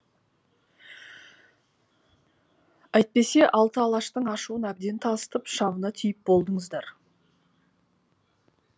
әйтпесе алты алаштың ашуын әбден тасытып шамына тиіп болдыңыздар